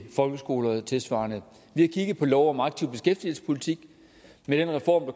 folkeskoler og tilsvarende vi har kigget på lov om aktiv beskæftigelsespolitik med den reform